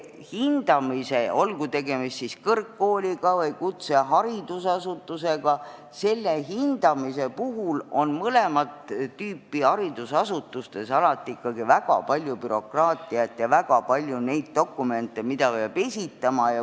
Hindamise puhul, olgu tegemist kõrgkooli või kutseharidusasutusega, on mõlemat tüüpi haridusasutustes alati ikkagi väga palju bürokraatiat ja dokumente, mida peab esitama.